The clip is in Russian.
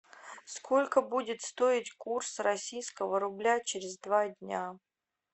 сколько будет стоить курс российского рубля через два дня